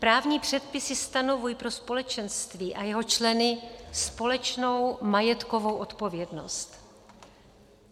Právní předpisy stanovují pro společenství a jeho členy společnou majetkovou odpovědnost.